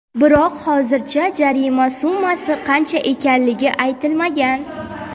Biroq hozircha jarima summasi qancha ekanligi aytilmagan.